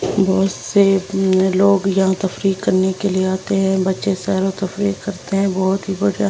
बहुत से लोग यहां तफरीक करने के लिए आते हैं बच्चे सैरो तफरीक करते हैं बहुत ही --